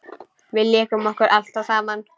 Við lékum okkur alltaf saman.